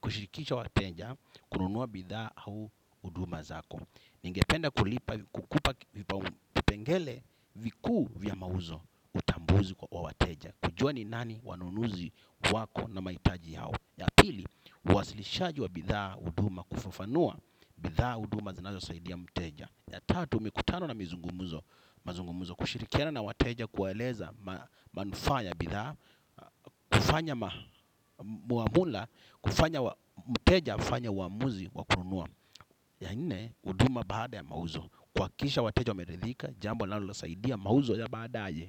kushirikisha wateja kununua bidhaa au huduma zako. Ningependa kulipa, kukupa vipau pengele vikuu vya mauzo utambuzi kwa wateja. Kujua ni nani wanunuzi wako na maitaji yao. Ya pili, uwasilishaji wa bidhaa huduma kufafanua bithaa huduma zinazosaidia mteja. Ya tatu mikutano na mizungumuzo. Mazungumuzo kushirikiana na wateja kuwaeleza manufaa ya bidhaa. Kufanya muamula, kufanya mteja, afanye uamuzi, wa kununua. Ya nne, huduma baada ya mauzo. Kuhakikisha wateja wameridhika, jambo linalosaidia mauzo ya baadaye.